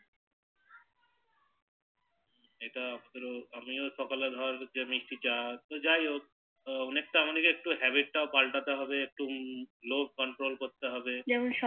যেটা তোর আমিও সকালে ধর মিষ্টি চা তো যাইহোক অনেকটা নিজের Habit টাও পাল্টাতে হবে একটু লোভ Control করতে হবে যেমন সব